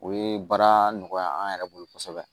O ye baara nɔgɔya an yɛrɛ bolo kosɛbɛ